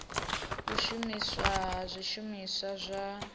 u shumiswa ha zwishumiswa zwa